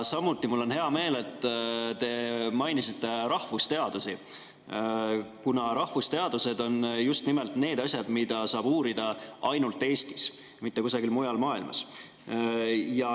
Samuti on mul hea meel, et te mainisite rahvusteadusi, kuna rahvusteadused on need asjad, mida saab uurida ainult Eestis, mitte kusagil mujal maailmas.